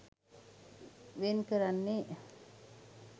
වෙන් කරන්නේ